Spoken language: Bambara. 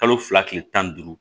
Kalo fila kile tan ni duuru